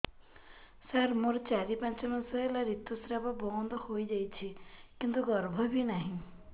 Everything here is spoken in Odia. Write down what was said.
ସାର ମୋର ଚାରି ପାଞ୍ଚ ମାସ ହେଲା ଋତୁସ୍ରାବ ବନ୍ଦ ହେଇଯାଇଛି କିନ୍ତୁ ଗର୍ଭ ବି ନାହିଁ